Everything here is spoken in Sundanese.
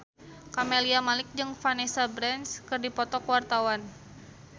Camelia Malik jeung Vanessa Branch keur dipoto ku wartawan